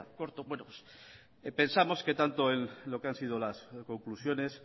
cortos vuelos pensamos que tanto lo que han sido las conclusiones